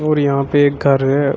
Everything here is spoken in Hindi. और यहां पे एक घर है।